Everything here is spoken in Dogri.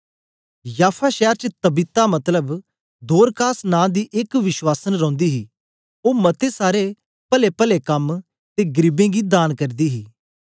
याफा शैर च तबीता मतलब दोरकास नां दी एक विश्वासं रौंदी ही ओ मते सारे पलेपले कम ते गरीबें गी दान करदी ही